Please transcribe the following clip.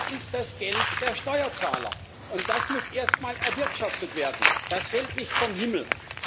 Das ist das Geld der Steuerzahler, und das muss erst mal erwirtschaftet werden. Das fällt nicht vom Himmel!